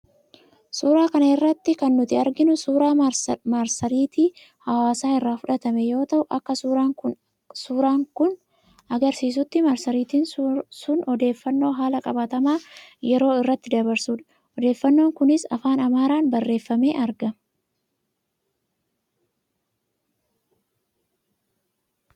Suuraa kana irratti kan nuti arginu, suuraa marsariitii hawaasaa irraa fudhatame yoo ta'u, akka suuraan kuna argisiisuuttis, marsariitiin sun odeeffannoo haala qabatamaa yeroo irratti dabarsudha. Odeeffannoon kunis afaan Amaaraan barreeffamee argama.